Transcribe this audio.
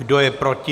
Kdo je proti?